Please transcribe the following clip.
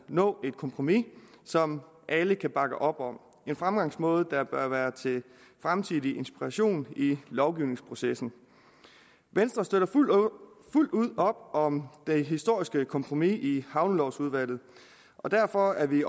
nå et kompromis som alle kan bakke op om en fremgangsmåde der bør være til fremtidig inspiration i lovgivningsprocessen venstre støtter fuldt ud op om det historiske kompromis i havnelovudvalget og derfor er vi